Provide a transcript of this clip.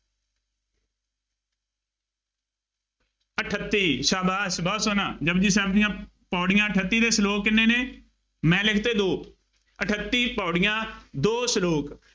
ਅਠੱਤੀ, ਸ਼ਾਬਾਸ਼ ਬਹੁਤ ਸੋਹਣਾ, ਜਪੁਜੀ ਸਾਹਿਬ ਦੀਆਂ ਪੌੜੀਆਂ ਅਠੱਤੀ ਅਤੇ ਸਲੋਕ ਕਿੰਨੇ ਨੇ, ਮੈਂ ਲਿਖ ਤੇ ਦੋ, ਅਠੱਤੀ ਪੌੜੀਆਂ, ਦੋ ਸਲੋਕ